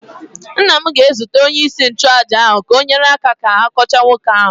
nna m ga-ezute onyeisi nchụaja ka o nyere ya aka ka ọ kọchaa nwoke ahụ